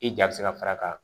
I ja bɛ se ka far'a kan